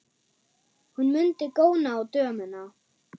Hún mundi góna á dömuna.